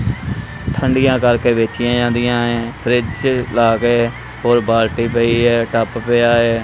ਠੰਡੀਆਂ ਕਰਕੇ ਵੇਚੀਆਂ ਜਾਂਦੀਆਂ ਐਂ ਫਰਿਜ ਲਾਗੇ ਔਰ ਬਾਲਟੀ ਪਈ ਐ ਟੱਬ ਪਿਆ ਐ।